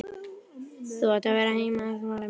Þú átt að vera heima, svaraði mamma ákveðin.